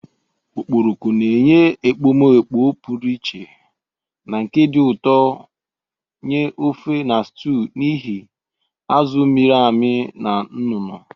Okporoko na-enye ekpomeekpo pụrụ iche na nke dị ụtọ nye ofe na stew n'ihi azụ̀ mịrị amị na nnu nnu.